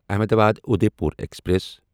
Ahmedabad Udaipur express